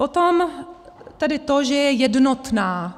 Potom tedy to, že je jednotná.